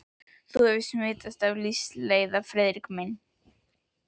Hefur þú smitast af lífsleiða, Friðrik minn?